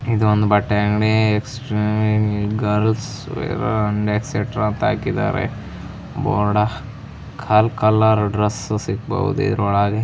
ಇದು ಒಂದು ಬಟ್ಟೆ ಅಂಗಡಿ exclusive girls wear and extra ಅಂತ ಹಾಕಿದ್ದಾರೆ ಬೋರ್ಡ ಕಾಲ್ ಕಲರ್ ಡ್ರೆಸ್ ಸಿಗಬಹುದು ಇದರೊಳಗೆ